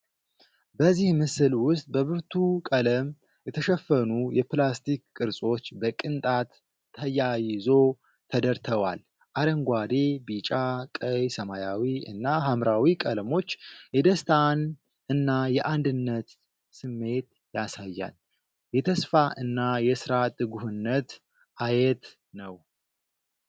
በዚህ ምስል ውስጥ በብርቱ ቀለም የተሸፈኑ የፕላስቲክ ቅርጾች በቅንጣት ተያይዞ ተደርተዋል። አረንጓዴ፣ ቢጫ፣ ቀይ፣ ሰማያዊ እና ሐምራዊ ቀለሞች የደስታን እና የአንድነት ስሜት ያሳያል። የተስፋ እና የሥራ ትጉህነት አየት ነው።